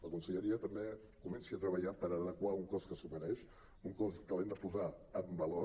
la conselleria també que comenci a treballar per adequar un cos que s’ho mereix un cos que l’hem de posar en valor